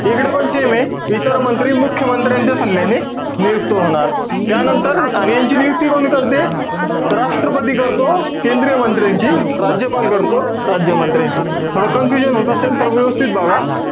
इकडपण same ए. इतर मंत्री मुख्य मंत्र्यांच्या सल्ल्याने, नियुक्त होणार. त्यानंतर, यांची नियुक्ती कोण करते? त राष्ट्रपती करतो. केंद्रीय मंत्र्यांची राज्यपाल करतो, राज्यमंत्र्यांची. थोडं confusion होत असेल तर व्यवस्थित बघा.